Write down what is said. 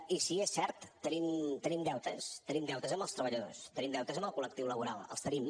i sí és cert tenim deutes tenim deutes amb els treballadors tenim deutes amb el col·lectiu laboral els tenim